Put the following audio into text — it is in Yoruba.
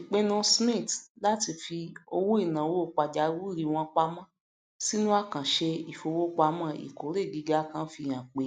ipinnu smiths láti fi owóìnàwó pàjáwìrì wọn pamọ sínú àkàǹṣe ìfowopamọ ìkórè gíga kan fi hàn pé